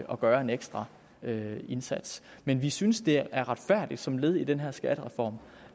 at gøre en ekstra indsats men vi synes det er retfærdigt som led i den her skattereform